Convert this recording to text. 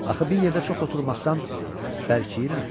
Axı bir yerdə çox oturmaqdan bərkiyirəm.